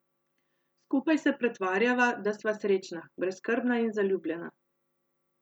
Skupaj se pretvarjava, da sva srečna, brezskrbna in zaljubljena.